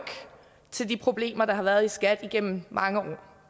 til de problemer der har været i skat igennem mange år det